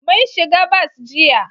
Mun shiga bas jiya